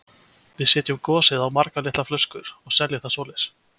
Við setjum gosið á margar litlar flöskur og seljum það svoleiðis.